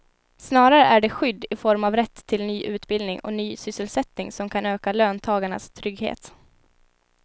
Snarare är det skydd i form av rätt till ny utbildning och ny sysselsättning som kan öka löntagarnas trygghet.